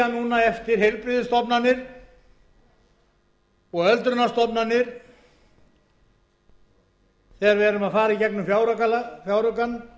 núna eftir heilbrigðisstofnanir og öldrunarstofnanir þegar við erum að fara í gegnum fjáraukann